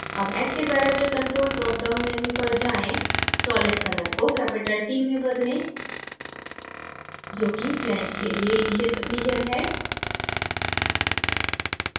अब active variable control dropdown menu पर जाएँ solid color को capital t में बदलें जो कि flange के लिए initial condition है